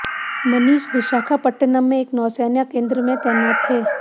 मनीष विशाखापटनम में एक नौसेना केंद्र में तैनात थे